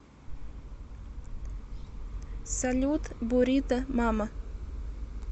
салют бурито мама